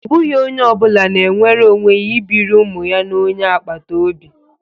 Ọ bụghị onye ọ bụla na-enwere onwe ya ibiri ụmụ ya na onye agbata obi